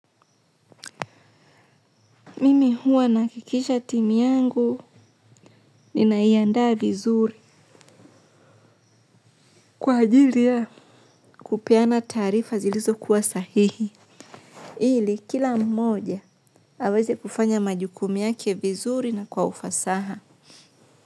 Mimi huwa nahakikisha timu yangu ninaiandaa vizuri. Kwa ajili ya kupeana taarifa zilizokuwa sahihi. Ili kila mmoja aweze kufanya majukumu yake vizuri na kwa ufasaha.